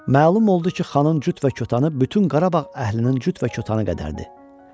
Məlum oldu ki, xanın cüt və kətanı bütün Qarabağ əhlinin cüt və kətanı qədərdir.